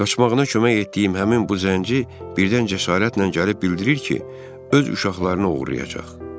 Qaçmağına kömək etdiyim həmin bu zənci birdən cəsarətlə gəlib bildirir ki, öz uşaqlarını oğurlayacaq.